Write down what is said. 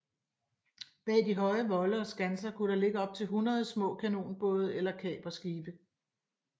Bag de høje volde og skanser kunne der ligge op til hundrede små kanonbåde eller kaperskibe